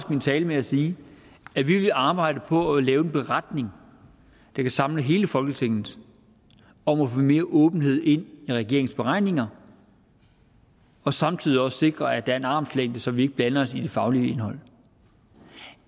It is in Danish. min tale med at sige at vi vil arbejde på at lave en beretning der kan samle hele folketinget om at få mere åbenhed ind i regeringens beregninger og samtidig også sikre at er en armslængde så vi ikke blander os i det faglige indhold